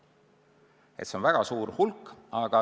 See on väga suur hulk.